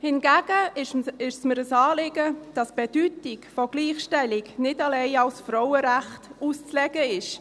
Hingegen ist es mir ein Anliegen, dass die Bedeutung der Gleichstellung nicht allein als Frauenrecht auszulegen ist.